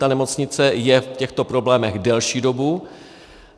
Ta nemocnice je v těchto problémech delší dobu.